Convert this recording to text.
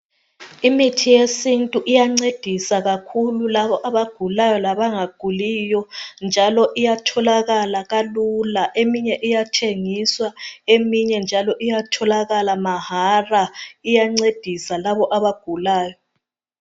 Imithi yesintu iyancedisa kakhulu labo abagulayo labangaguliyo njalo iyatholakala kalula. Eminye iyathengiswa, eminye njalo iyatholakala mahala. Iyancedisa labo abagulayo.